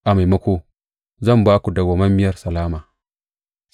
A maimako, zan ba ku madawwamiyar salama.’